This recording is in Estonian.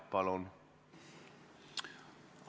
Palun!